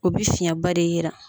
O bɛ fiyɛn ba de yira.